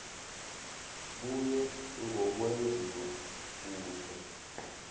kuye ngokwenziwa kuhle